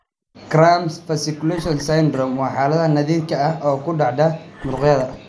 Cramp fasciculation syndrome (CFS) waa xaalad naadir ah oo ku dhacda muruqyada.